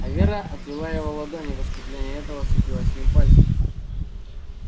а вера отвела его ладонь и в искупление этого сцепилась с ним пальцами